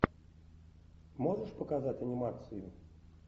можешь показать анимацию